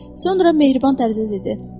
Sonra Mehriban tərzdə dedi: